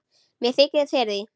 Mér þykir fyrir því.